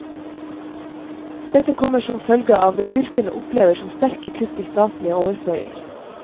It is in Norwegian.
Dette kommer som følge av det fylkene opplever som sterke kutt i statlige overføringer.